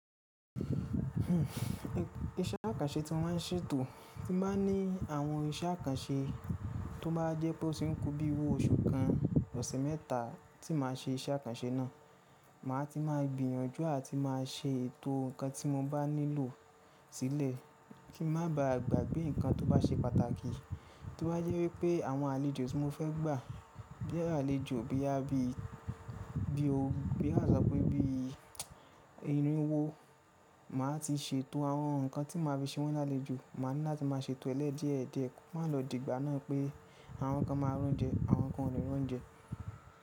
Iṣẹ́ àkànṣe tí mo má n ṣètò, tí m ba ní àwọn iṣẹ́ àkànṣe tó bá jẹ́ pé ó ti ń kú bí iru oṣù kan, ọ̀sẹ̀ mẹ́ta tí màá ṣe iṣẹ́ àkànṣe náà. Màá ti máa gbìyànjú àti máa ṣe ètò ǹkan tí mo bá nílò sílẹ̀ kí n má ba à gbàgbé ǹkan tó bá ṣe pàtàkì. Tí ó bá yẹ wípé àwọn àlejò tí mo fẹ́ gbà, bí i àlejò boya bí i bí i ó, bí à sọ pé bí i irínwó, màá ti ṣètò àwọn ǹkan tí màá fi ṣe wọ́n lálejò. Màá ní láti máa ṣètò ẹ lẹ́ diẹdiẹ, ko má lọ dìgbà náà pé àwọn kan máa ri oúnjẹ, àwọn kan kò ní ri oúnjẹ.